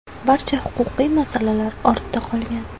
Barcha huquqiy masalalar ortda qolgan.